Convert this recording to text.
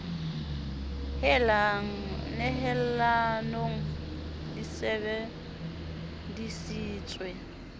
hella nehelanong di sebe disitswe